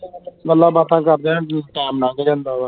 ਗੱਲਾਂ ਬਾਤਾਂ ਕਰਦਿਆਂ ਹੀ ਟੈਮ ਨੰਗ ਜਾਂਦਾ ਵਾ